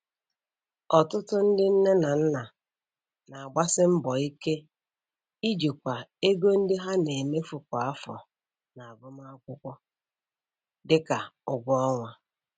Ọtụtụ ndị nne na nna na-agbasi mbọ ike ijikwa ego ndị ha na-emefu kwa afọ n'agụmakwụkwọ, dị ka ụgwọ ọnwa.